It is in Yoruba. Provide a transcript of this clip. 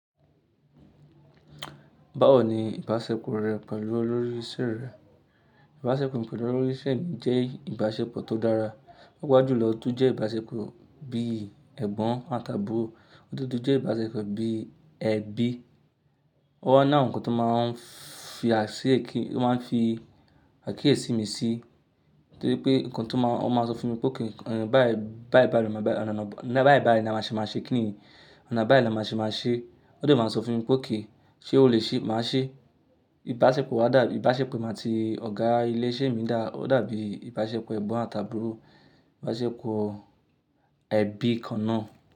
Báwo ni ìbáṣepọ̀ rẹ pẹ̀lú olórí ìṣe rẹ? Ìbáṣepọ̀ mi pẹ̀lú olórí ìṣe mi jẹ́ ìbáṣepọ̀ tó dára. Paapaa jú lọ tó jẹ́ ìbáṣepọ̀ bí ẹ̀gbọ́n àti àbúrò, O de tun jẹ́ ìbáṣepọ̀ bí ẹbí. Ó wà lawon ńkan tó máa ń fi àkíyèsí mi sí, torí pé nǹkan tó máa, ó máa sọ fún mi pe okay, ọ̀nà bá yii bá yii báyii ni a máa ṣe máa ṣe kíni? Ọ̀nà bá yii la máa ṣe máa ṣe. Won de máa sọ fún mi pe okay, ṣé o lè ṣe, máa ṣe. Ìbáṣepọ̀ wa dà, ìbáṣepọ̀ emi àti ọ̀gá ilé iṣẹ́ mi dà, ó dàbí ìbáṣepọ̀ ẹ̀gbọ́n àti àbúrò, ìbáṣepọ̀ ẹbí kanna.